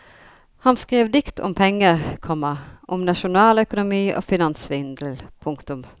Han skrev dikt om penger, komma om nasjonaløkonomi og finanssvindel. punktum